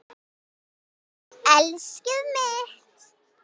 Elskið mitt!